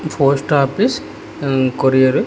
post office ఉం courier --